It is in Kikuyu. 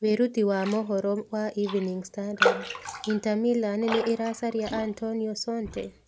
(Wĩruti wa mohoro wa Evening Standard) Inter Milan nĩ ĩracaria Antonio Conte?